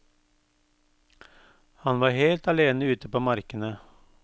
Han var helt alene ute på markene.